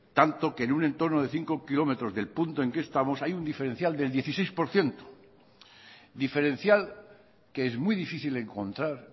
tanto que en un entorno de cinco kilómetros del punto en que estamos hay un diferencial del dieciséis por ciento diferencial que es muy difícil encontrar